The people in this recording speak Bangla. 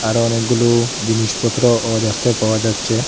এখানে অনেকগুলো জিনিসপত্রও দেখতে পাওয়া যাচ্ছে।